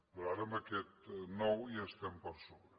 però ara amb aquest nou ja hi estem per sobre